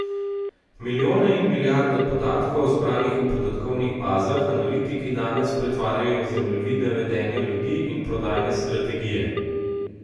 Milijone in milijarde podatkov, zbranih v podatkovnih bazah, analitiki danes pretvarjajo v zemljevide vedenja ljudi in prodajne strategije.